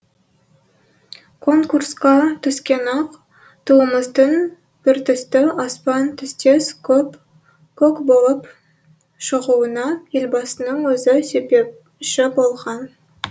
конкурсқа түскен ақ туымыздың біртүсті аспан түстес көк болып шығуына елбасының өзі себепші болған